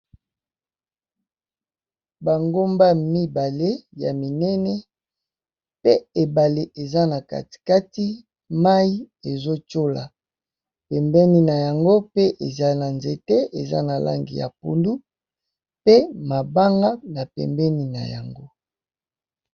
Ba gomba mibale ya minene pee enable eta na katikati nango pee mayi Ezo cola ñakati nangi pee ba mabanga